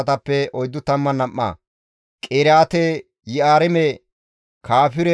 Beeteleppenne Aye dere asatappe 123